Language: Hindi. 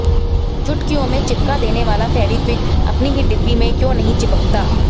चुटकियों में चिपका देने वाला फेवीक्विक अपनी ही डिब्बी में क्यों नहीं चिपकता